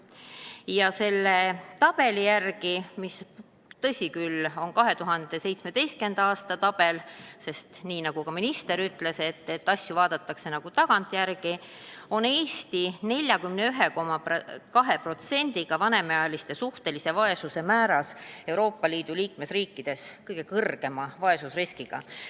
Ja selle tabeli järgi – tõsi küll, see on 2017. aasta tabel, sest, nagu ka minister ütles, asju vaadatakse tagantjärele – on Eesti oma 41,2%-ga vanemaealiste suhtelise vaesuse määra poolest Euroopa Liidu liikmesriikide seas kõige kõrgema vaesusriskiga.